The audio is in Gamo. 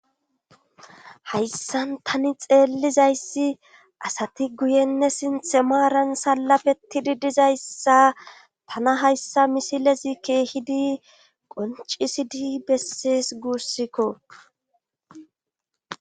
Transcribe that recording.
hayssan tani xeellizayssi asati guyenne sinxemaaran sallapetidi dizayssa tana hayssa misilezi keehidi qoncisidi bessees guussikko